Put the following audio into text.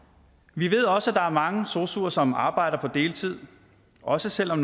vi ved også at der er mange sosuer som arbejder på deltid også selv om